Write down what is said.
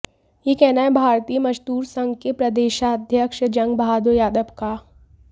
यह कहना है भारतीय मजदूर संघ के प्रदेशाध्यक्ष जंग बहादुर यादव का